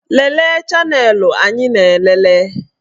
Lelee chanelụ anyị na-elele